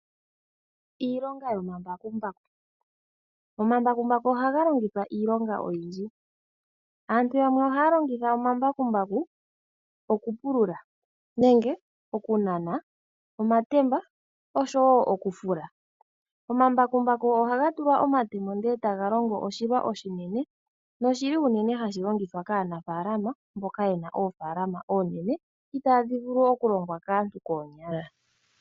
Omambakumbaku ohagu longithwa miilonga oyindji. Aantu yamwe ohaa longitha omambakumbaku okupulula nenge okunana omatemba oshowoo okufula. Omambakumbaku ohaga tulwa omatemo ndele etaga longo oshilwa oshinene noshili unene hashi longithwa kaanafaalama mboka yena oofaalama oonene itaadhi vulu okulongwa kaantu koonyala.